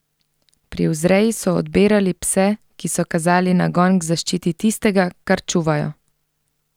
Pri vzreji so odbirali pse, ki so kazali nagon k zaščiti tistega, kar čuvajo.